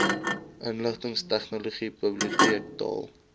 inligtingstegnologie bibioteek taal